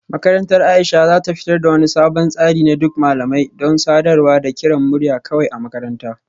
Makarantar Aisha za ta fitar da wani sabon tsari na duk malamai don sadarwa da kiran murya kawai a makaranta